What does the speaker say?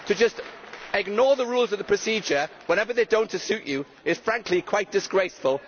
To just ignore the Rules of Procedure whenever they do not suit you is frankly quite disgraceful.